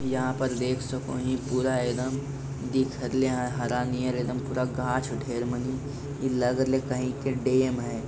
यहाँ पर देख सकू ये पूरा एकदम दिख रहले हरा नीय एकदम पूरा गाछ ढेर मनी इ लग रहले कहीं के डैम है |